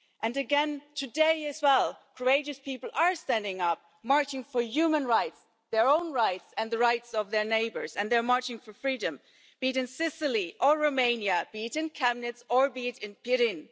And again, today as well, courageous people are standing up, marching for human rights their own rights and the rights of their neighbours and they are marching for freedom, be it in Sicily or Romania, be it in Chiemnitz or be it in Pirin.